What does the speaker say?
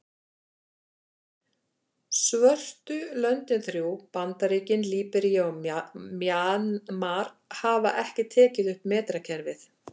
Svörtu löndin þrjú, Bandaríkin, Líbería og Mjanmar hafa ekki tekið upp metrakerfið.